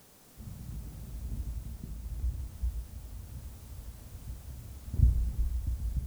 Nitok ko ngatutiet nambarit lo eng mwaet kele kisub icheket chetelejin